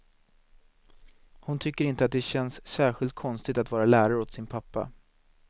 Hon tycker inte att det känns särskilt konstigt att vara lärare åt sin pappa.